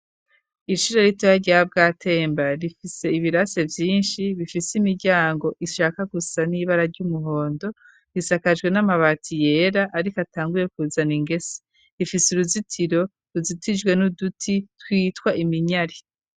Ishure ritoya rya Bwatemba, rifise ibirasi vyinshi, bifise imiryango ishaka gusa n'ibara ry'umuhondo, risakajwe n'amabati yera ariko atanguye kuzana ingese, ifise uruzitiro ruzitijwe n'uduti twitwa iminyari.